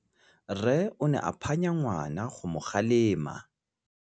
Rre o ne a phanya ngwana go mo galemela.